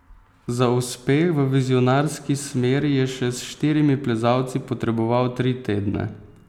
Za uspeh v vizionarski smeri je še s štirimi plezalci potreboval tri tedne.